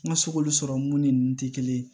N ka se k'olu sɔrɔ mun ni nin tɛ kelen ye